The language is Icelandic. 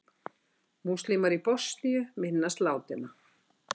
Múslímar í Bosníu minnast látinna